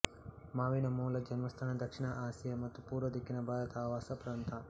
ಮಾವಿನ ಮೂಲ ಜನ್ಮಸ್ಥಾನ ದಕ್ಷಿಣ ಆಸಿಯ ಮತ್ತು ಪೂರ್ವ ದಿಕ್ಕಿನ ಭಾರತ ಆವಾಸ ಪ್ರಾಂತ